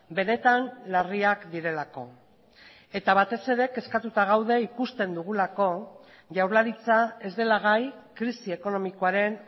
benetan larriak direlako eta batez ere kezkatuta gaude ikusten dugulako jaurlaritza ez dela gai krisi ekonomikoaren